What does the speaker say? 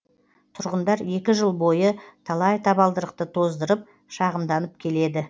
тұрғындар екі жыл бойы талай табалдырықты тоздырып шағымданып келеді